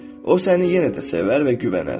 O səni yenə də sevər və güvənər.